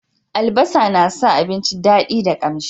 albasa na sa abinci dadi da kamshi